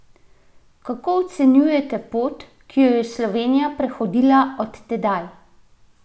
Kako ocenjujete pot, ki jo je Slovenija prehodila od tedaj?